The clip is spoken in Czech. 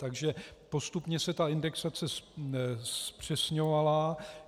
Takže postupně se ta indexace zpřesňovala.